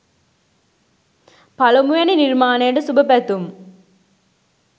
පලමු වෙනි නිර්මාණයට සුබ පැතුම්.